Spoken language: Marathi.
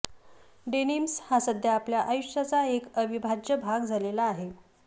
डेनिम्स हा सध्या आपल्या आयुष्याचा एक अविभाज्य भाग झालेला आहे